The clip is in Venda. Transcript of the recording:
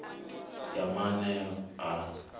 ya maanea ha dovha ha